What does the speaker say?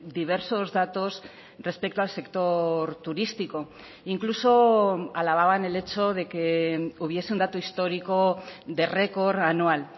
diversos datos respecto al sector turístico incluso alababan el hecho de que hubiese un dato histórico de record anual